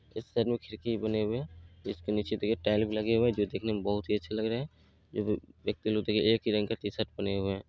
इस साइड में खिड़की भी बने हुए हैं जिसके निचे देखिये टाइल भी लगे हुए हैं जो दिखने में बहुत ही अच्छे लग रहें हैं जो व्यक्ति लोग तो एक ही रंग का टीशर्ट पहने हुए हैं।